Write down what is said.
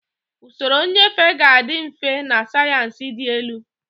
Usoro nnyefe ga-adị mfe na sayensị dị elu.